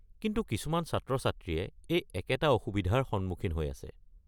কিন্তু কিছুমান ছাত্ৰ-ছাত্ৰীয়ে এই একেটা অসুবিধাৰ সন্মুখীন হৈ আছে।